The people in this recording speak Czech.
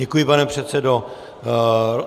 Děkuji, pane předsedo.